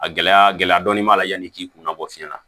A gɛlɛya gɛlɛya dɔɔni b'a la yanni i k'i kunna bɔ fiɲɛ na